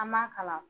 An m'a kalan